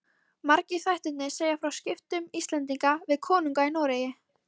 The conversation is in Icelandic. Margir þættirnir segja frá skiptum Íslendinga við konunga í Noregi.